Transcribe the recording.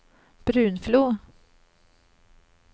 Brunflo